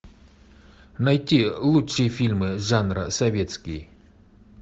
найти лучшие фильмы жанра советский